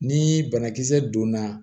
Ni banakisɛ donna